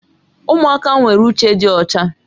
Ụmụaka nwere uche dị ọcha